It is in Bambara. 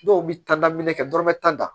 Dɔw bɛ taminɛminɛ kɛ dɔrɔmɛ tan